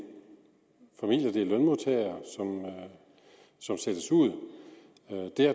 familier det er lønmodtagere som sættes ud